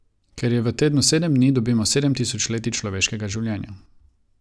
Ker je v tednu sedem dni, dobimo sedem tisočletij človeškega življenja.